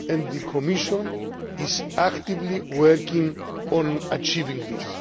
The Commission is actively working to achieve this.